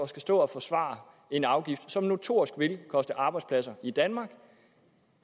stå og forsvare en afgift som notorisk vil koste arbejdspladser i danmark